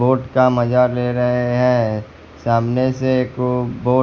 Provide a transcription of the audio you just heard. Boat का मजा ले रहे हैं। सामने से एक बोट--